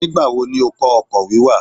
Nígbà wo ni ó kọ́ ọkọ̀ wíwà.?